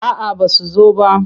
A'aba su zo ba.